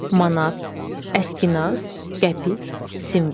Manat, əskinas, qəpik, simvol.